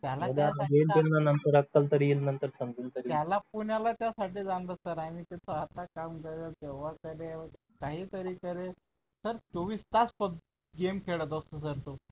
त्याला जेमतेम मग नंतर अक्कल तरी येईल नंतर समजून तरी घेईन काय त्याला पुण्याला त्यासाठीच आणलं sir आम्ही तो आता काम करेल तेव्हा करेल काहीतरी करेल sir चोवीस तास गेम खेळत असतो sir तो